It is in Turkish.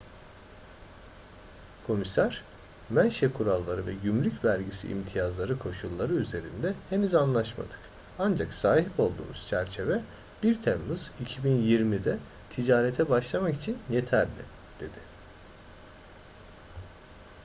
komiser menşe kuralları ve gümrük vergisi imtiyazları koşulları üzerinde henüz anlaşmadık ancak sahip olduğumuz çerçeve 1 temmuz 2020'de ticarete başlamak için yeterli dedi